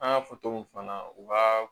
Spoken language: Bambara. An y'a fɔ cogo min fana u ka